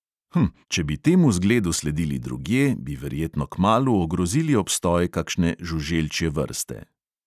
Hm, če bi temu zgledu sledili drugje, bi verjetno kmalu ogrozili obstoj kakšne žuželčje vrste.